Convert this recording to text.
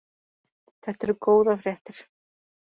Þetta eru góðar fréttir